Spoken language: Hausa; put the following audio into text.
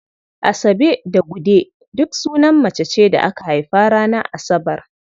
Asabe da Gude duk sunan mace ce da aka haifa ranar Asabar.